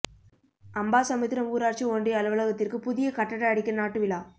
அம்பாசமுத்திரம் ஊராட்சி ஒன்றிய அலுவலகத்திற்கு புதிய கட்டட அடிக்கல் நாட்டு விழா